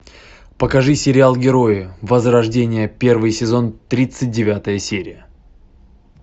покажи сериал герои возрождение первый сезон тридцать девятая серия